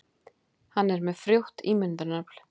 Hann er með frjótt ímyndunarafl.